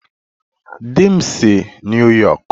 Di m si New York